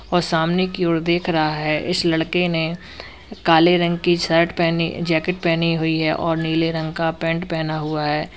और सामने की ओर देख रहा है इस लड़के ने काले रंग की शर्ट पहनी जैकेट पहनी हुई है और नीले रंग का पैंट पहना हुआ है।